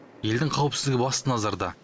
елдің қауіпсіздігі басты назарда